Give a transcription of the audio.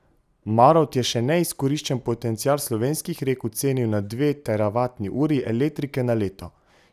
Marovt je še neizkoriščen potencial slovenskih rek ocenil na dve teravatni uri elektrike na leto.